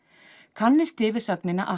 kannist þið við sögnina að